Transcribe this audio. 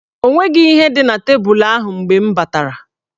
O nweghi ihe dị na tebul ahụ mgbe m batara.